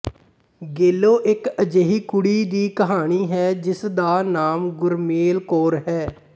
ਗੇਲੋ ਇੱਕ ਅਜਿਹੀ ਕੁੜੀ ਦੀ ਕਹਾਣੀ ਹੈ ਜਿਸਦਾ ਨਾਮ ਗੁਰਮੇਲ ਕੌਰ ਹੈ